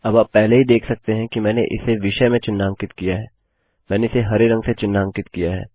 अब आप पहले ही देख सकते हैं कि मैंने इसे विषय में चिन्हांकित किया है मैंने इसे हरे रंग से चिन्हांकित किया है